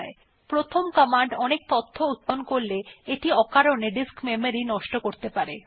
যদি প্রথম কমান্ড অনেক তথ্য উত্পাদন করে এটা অকারণে ডিস্ক মেমরি নষ্ট করতে পারে